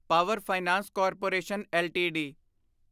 power finance corporation LTD